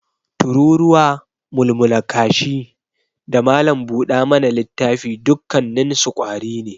Tururuwa, mulmula kashi, da malam buda mana littafi dukkanninsu ƙwari ne.